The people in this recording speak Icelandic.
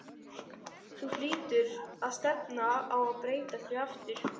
Þú hlýtur á að stefna á að breyta því aftur?